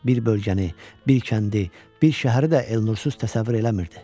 Bir bölgəni, bir kəndi, bir şəhəri də Elnursuz təsəvvür eləmirdi.